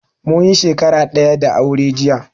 Munyi shakara daya da aure jiya